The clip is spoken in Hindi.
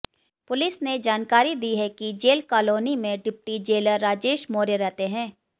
पुलिस ने जानकारी दी है कि जेल कालोनी में डिप्टी जेलर राजेश मौर्य रहते हैं